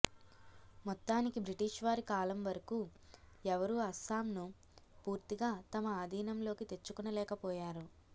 మొత్తానికి బ్రిటిష్ వారి కాలం వరకూ ఎవరూ అస్సాంను పూర్తిగా తమ అధీనంలోకి తెచ్చుకొనలేక పోయారు